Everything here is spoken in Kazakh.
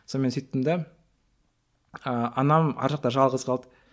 сонымен сөйттім де ыыы анам арғы жақта жалғыз қалды